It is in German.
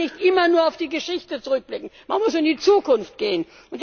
Man kann nicht immer nur auf die Geschichte zurückblicken, man muss in die Zukunft gehen.